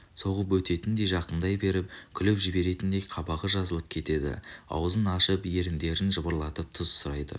соғып өтетіндей жақындай беріп күліп жіберетіндей қабағы жазылып кетеді аузын ашып еріндерін жыбырлатып тұз сұрайды